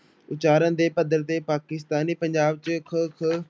ਉਚਾਰਨ ਦੇ ਪੱਧਰ ਤੇ ਪਾਕਿਸਤਾਨੀ ਪੰਜਾਬ ਚ ਕ, ਖ